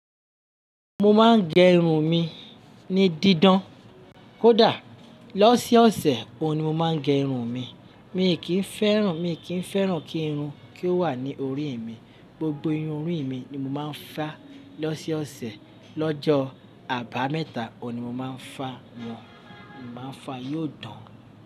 Mo máa ń gẹ irun mi ní didán. Kódà lọsọọsẹ òun ni mo máa ń gẹ irun mi. Mi kì í fẹ́ràn, mi kì í fẹ́ràn kí irun kí ó wà ní orí mi. Gbogbo irun orí mi ni mo máa ń fá lọsọọsẹ lọ́jọ́ àbámẹ́ta òun ni mo máa ń fá wọ́n, mo máa ń fá yóò dán.